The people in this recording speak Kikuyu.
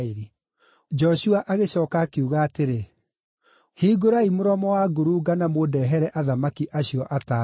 Joshua agĩcooka akiuga atĩrĩ, “Hingũrai mũromo wa ngurunga-inĩ na mũndehere athamaki acio atano.”